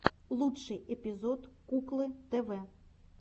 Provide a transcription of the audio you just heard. лучший эпизод куклы тв